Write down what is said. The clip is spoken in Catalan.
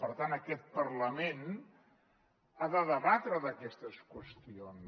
per tant aquest parlament ha de debatre d’aquestes qüestions